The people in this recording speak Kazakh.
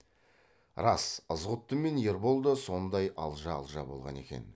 рас ызғұтты мен ербол да сондай алжа алжа болған екен